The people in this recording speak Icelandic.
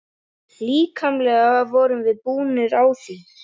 Líkamlega vorum við búnir á því.